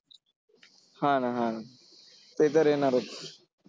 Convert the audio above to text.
हा ना हा. ते तर येणारच.